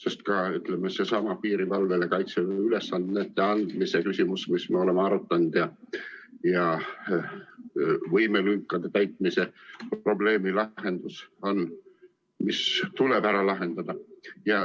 Seesama piirivalvele kaitseülesannete andmise küsimus, mida me oleme arutanud, ja võimelünkade täitmise probleem tuleb ära lahendada.